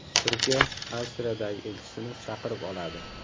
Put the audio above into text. Turkiya Avstriyadagi elchisini chaqirib oladi.